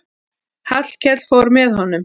Hallkell fór með honum.